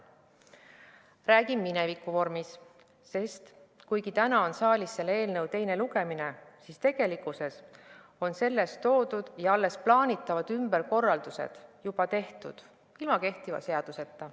Ma räägin minevikuvormis, sest kuigi täna on saalis selle eelnõu teine lugemine, siis tegelikkuses on selles toodud ja alles plaanitavad ümberkorraldused juba tehtud – ilma kehtiva seaduseta.